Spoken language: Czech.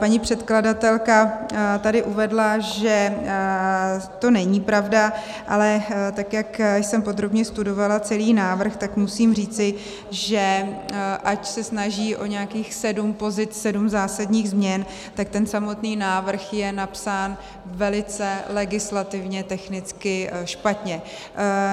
Paní předkladatelka tady uvedla, že to není pravda, ale tak jak jsem podrobně studovala celý návrh, tak musím říci, že ať se snaží o nějakých sedm pozic, sedm zásadních změn, tak ten samotný návrh je napsán velice legislativně technicky špatně.